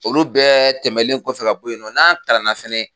Olu bɛ tɛmɛlen kɔfɛ ka bɔ yen nɔ n'an kalanna fɛnɛ